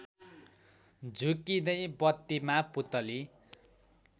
झुक्किँदै बत्तीमा पुतली